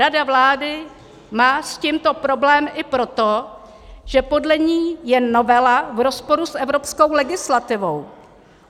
Rada vlády má s tímto problém i proto, že podle ní je novela v rozporu s evropskou legislativou.